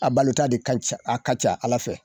A balota de a ka ca Ala fɛ